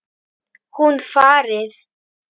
Hún farið.